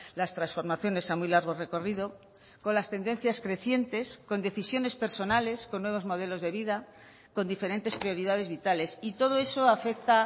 las transformaciones a muy largo recorrido con las tendencias crecientes con decisiones personales con nuevos modelos de vida con diferentes prioridades vitales y todo eso afecta